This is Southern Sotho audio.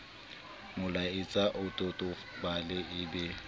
molaetsa o totobale e be